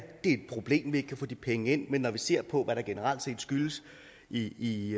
et problem at vi ikke kan få de penge ind men når vi ser på hvad der generelt set skyldes i